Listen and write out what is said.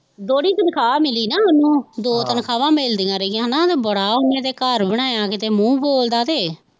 ਦੋਹਰੀ ਤਨਖਾਹ ਮਿਲੀ ਨਾ ਉਹਨੂੰ. ਦੋ ਤਨਖਾਵਾਂ ਮਿਲਦੀਆਂ ਰਹੀਆਂ, ਬੜਾ ਉਹਨੇ ਤੇ ਘਰ ਬਣਾਇਆਂ ਕਿਤੇ ਮੂੰਹ ਬੋਲਦਾ ਅਤੇ